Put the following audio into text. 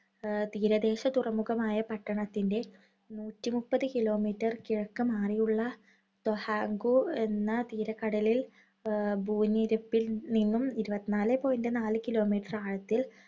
എഹ് തീരദേശ തുറമുഖമായ പട്ടണത്തിന്‍റെ നൂറ്റി മുപ്പത് kilometer കിഴക്ക് മാറി ഉള്ള തൊഹൊങ്കു എന്ന തീരക്കടലിൽ എഹ് നിന്നും ഭൂനിരപ്പിൽ നിന്നും ഇരുപത്തി നാല് point നാല് kilometer ആഴത്തില്‍